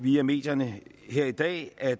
via medierne her i dag at